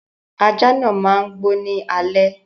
Aja náà má n gbó ní alẹ́